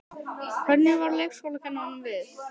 Hvernig varð leikskólakennurunum við?